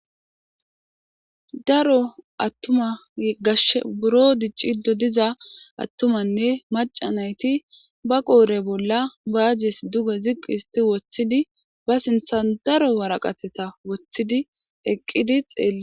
Daro attuma gash buro dic cido diza attumanne maca nayti ba qoore bolla baazes duga ziqqi histi woththidi ba sinthan daro waraqateta woththidi eqqidi xeele.